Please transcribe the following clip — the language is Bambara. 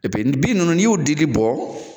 bin ninnu ni y'o dili bɔ,